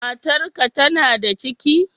Matar ka tana da ciki?